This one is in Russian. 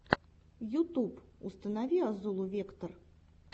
ютюб установи азулу вектор